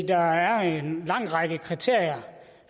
der er en lang række kriterier